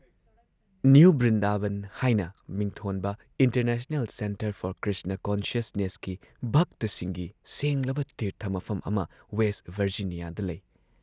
new Brindaban ꯍꯥꯏꯅ ꯃꯤꯡꯊꯣꯟꯕ international centre for Krishna ꯀꯣꯟꯁꯁꯅꯦꯁꯀꯤ ꯚꯛꯇꯁꯤꯡꯒꯤ ꯁꯦꯡꯂꯕ ꯇꯤꯔꯊ ꯃꯐꯝ ꯑꯃ ꯋꯦꯁꯠ ꯚꯔꯖꯤꯅꯤꯌꯥꯗ ꯂꯩ